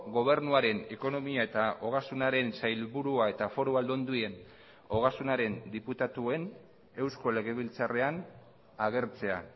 gobernuaren ekonomia eta ogasunaren sailburua eta foru aldundien ogasunaren diputatuen eusko legebiltzarrean agertzea